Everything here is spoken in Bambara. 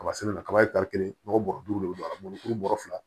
Kaba sɛnɛ na kaba ye kelen ɲɔgɔn bɔrɔ duuru de bi don a la mɔɔ ni kuru bɔrɔ fila